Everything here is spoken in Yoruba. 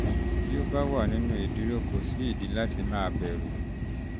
bí ó bá um wà ní um ìdúró um kò sí ìdí láti máa bẹ̀rù